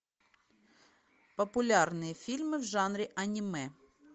популярные фильмы в жанре аниме